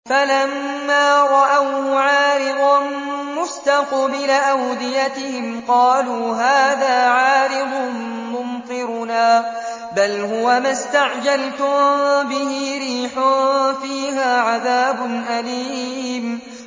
فَلَمَّا رَأَوْهُ عَارِضًا مُّسْتَقْبِلَ أَوْدِيَتِهِمْ قَالُوا هَٰذَا عَارِضٌ مُّمْطِرُنَا ۚ بَلْ هُوَ مَا اسْتَعْجَلْتُم بِهِ ۖ رِيحٌ فِيهَا عَذَابٌ أَلِيمٌ